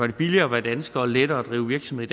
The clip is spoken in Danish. det billigere at være dansker og lettere at drive virksomhed